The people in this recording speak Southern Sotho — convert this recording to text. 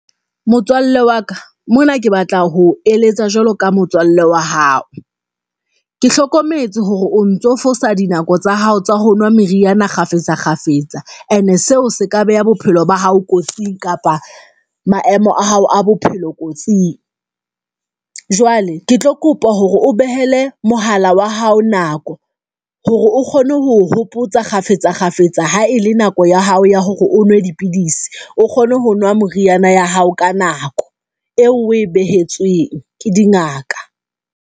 Motswalle wa ka mona ke batla ho eletsa jwalo ka motswalle wa hao, ke hlokometse hore o ntso fosa dinako tsa hao, tsa ho nwa meriana kgafetsa kgafetsa ene seo se ka beha bophelo ba hao kotsing kapa maemo a hao a bophelo kotsing. Jwale ke tlo kopa hore o behele mohala wa hao nako hore o kgone ho hopotsa kgafetsa kgafetsa, ha ele nako ya hao ya hore o nwe dipidisi, o kgone ho nwa moriana ya hao ka nako eo oe behetsweng ke dingaka.